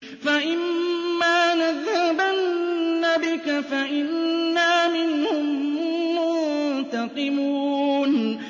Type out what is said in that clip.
فَإِمَّا نَذْهَبَنَّ بِكَ فَإِنَّا مِنْهُم مُّنتَقِمُونَ